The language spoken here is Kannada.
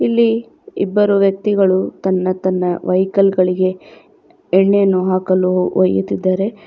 ಇಲ್ಲಿ ಇಬ್ಬರು ವ್ಯಕ್ತಿಗಳು ತನ್ನ ತನ್ನ ವೆಹಿಕಲ್ ಗಳಿಗೆ ಎಣ್ಣೆಯನ್ನು ಹಾಕಲು ಒಯ್ಯುತ್ತಿದ್ದಾರೆ.